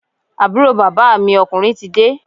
Àbúrò bàbá mi ọ̣kùnrin ti dé